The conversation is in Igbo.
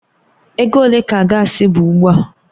Ego ole ka gaasi bụ ugbu a?